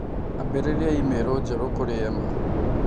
Ambĩrĩria i-mīrū njerũ kũrĩ Emma